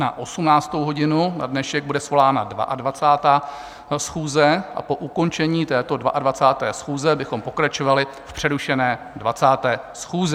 Na 18. hodinu na dnešek bude svolána 22. schůze a po ukončení této 22. schůze bychom pokračovali v přerušené 20. schůzi.